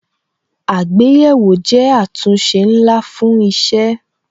Àgbéyẹ̀wò jẹ́ àtúnṣe ńlá fún isẹ